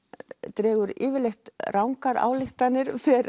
dregur yfirleitt rangar ályktanir fer